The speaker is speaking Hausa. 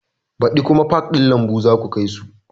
Baɗi kuma pak ɗin lambu zaku kai su